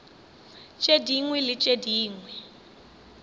tše dingwe le tše dingwe